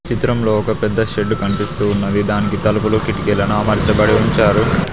చిత్రంలో ఒక పెద్ద షెడ్డు కనిపిస్తూ ఉన్నవి దానికి తలుపులు కిటికీలను అమర్చబడి ఉంచారు.